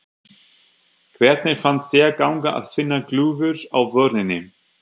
Hvernig fannst þér ganga að finna glufur á vörninni?